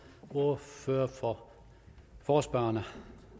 ordfører for forespørgerne